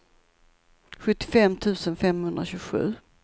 sjuttiofem tusen femhundratjugosju